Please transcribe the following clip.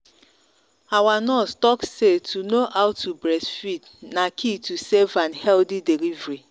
our nurse talk say to know how to breastfeed na key to safe and healthy delivery